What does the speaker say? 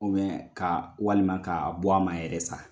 ka walima k'a bɔ a ma yɛrɛ sa.